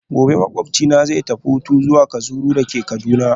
Gobe ​​makwabcina zai tafi hutu zuwa kajuru castle dake Kaduna